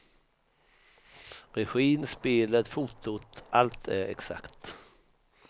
Regin, spelet, fotot, allt är exakt.